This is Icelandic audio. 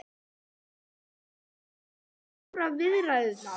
Heimir: Dugar þessi vika til að klára viðræðurnar?